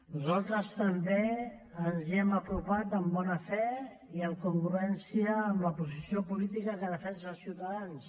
nosaltres també ens hi hem apropat amb bona fe i en congruència amb al posició política que defensa ciutadans